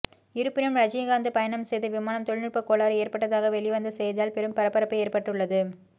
இருப்பினும் ரஜினிகாந்த் பயணம் செய்த விமானம் தொழில்நுட்ப கோளாறு ஏற்பட்டதாக வெளி வந்த செய்தியால் பெரும் பரபரப்பு ஏற்பட்டுள்ளது